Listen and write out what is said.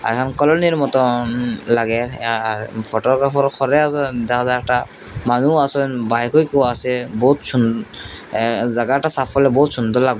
একদম কলোনির মতন লাগে আর ফটোগ্রাফারও খরে আসেন দাদাটা বাইকআইকও আসে বহুত সুন অ্যা জাগাটা সাফ করলে বহুত সুন্দর লাগবে।